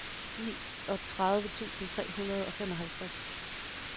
niogtredive tusind tre hundrede og femoghalvtreds